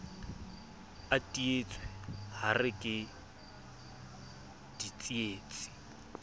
a teetswe hare ke ditsietsi